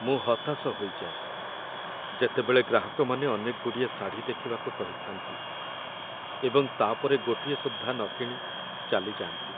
ମୁଁ ହତାଶ ହୋଇଯାଏ, ଯେତେବେଳେ ଗ୍ରାହକମାନେ ଅନେକଗୁଡ଼ିଏ ଶାଢ଼ୀ ଦେଖିବାକୁ କହିଥାନ୍ତି, ଏବଂ ତା' ପରେ ଗୋଟିଏ ସୁଦ୍ଧା ନ କିଣି ଚାଲିଯାଆନ୍ତି।